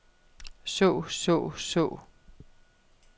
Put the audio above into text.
så så så